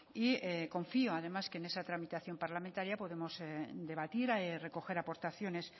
y confío además que en esa tramitación parlamentaria podemos debatir recoger aportaciones